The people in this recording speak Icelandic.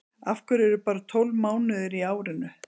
af hverju eru bara tólf mánuðir í árinu